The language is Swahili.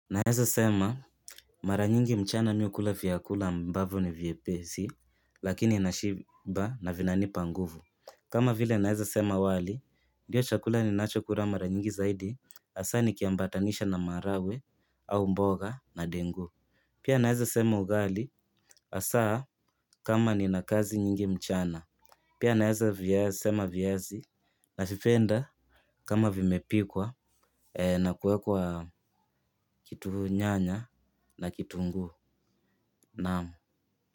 Naeza sema mara nyingi mchana miukula viyakula ambavu ni vyepesi lakini nashiba na vinanipa nguvu. Kama vile naeza sema wali ndiyo chakula ni nachokula mara nyingi zaidi hasa nikiambatanisha na maharagwe au mboga na dengu. Pia naeza sema ugali asaa kama ni nakazi nyingi mchana. Pia naeza sema viazi na vipenda kama vimepikwa na kuwekwa kitu nyanya na kitunguu.